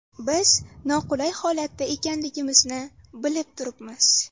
Biz noqulay holatda ekanligimizni bilib turibmiz.